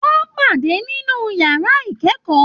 Wọn pàdé nínú yàrá ikẹkọọ.